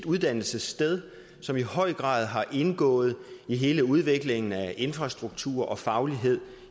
uddannelsessted som i høj grad har indgået i hele udviklingen af infrastruktur og faglighed